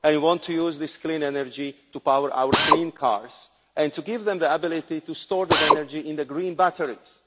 I want to use this clean energy to power our clean cars and to give them the ability to store that energy in green batteries.